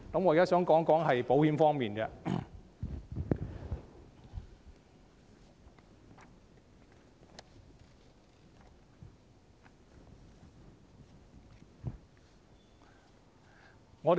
我現在想談談保險方面。